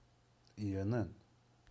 яна